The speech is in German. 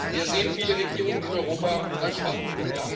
Wir sehen viele Regierungen in Europa als Schwachpunkt.